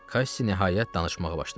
Kass nəhayət danışmağa başladı.